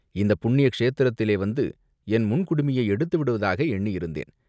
இந்தப் புண்ணிய க்ஷேத்திரத்திலே வந்து என் முன் குடுமியை எடுத்து விடுவதாகவே எண்ணியிருந்தேன்.